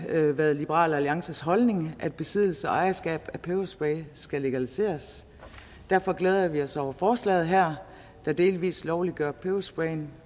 været liberal alliances holdning at besiddelse og ejerskab af peberspray skal legaliseres derfor glæder vi os over forslaget her der delvis lovliggør peberspray